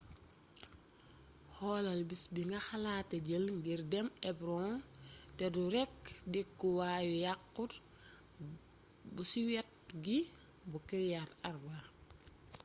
xoolal bis bi nga xalaate jël ngir dem hebron te du rekk dëkkuwaayu yaxuut bu ci wet gi bu kiryat arba